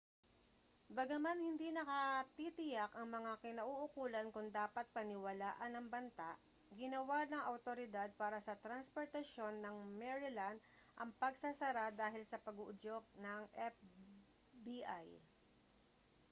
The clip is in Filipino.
bagaman hindi nakatitiyak ang mga kinauukulan kung dapat paniwalaan ang banta ginawa ng awtoridad para sa transportasyon ng maryland ang pagsasara dahil sa pag-uudyok ng fbi